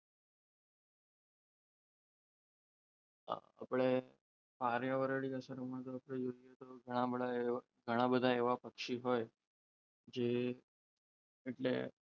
તો આપણે પર્યાવરણી અસરોમાં તો ઘણા બધા એવા પક્ષી હોય જે એટલે,